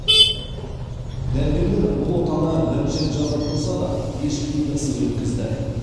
дәрігерлер бұл отаны бірінші рет жасап тұрса да еш қиындықсыз өткізді